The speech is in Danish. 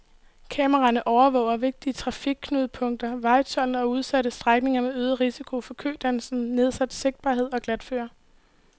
Kameraerne overvåger vigtige trafikknudepunkter, vejtolden og udsatte strækninger med øget risiko for kødannelser, nedsat sigtbarhed og glatføre.